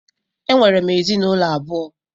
Enwere m ezinụlọ abụọ.